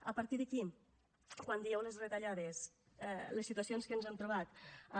a partir d’aquí quan dieu les retallades les situacions que ens hem trobat amb